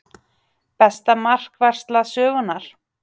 Besta markvarsla sögunnar?